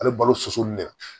Ale balo soso min de